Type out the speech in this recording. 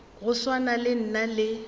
go swana le nna le